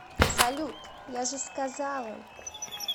салют я же сказала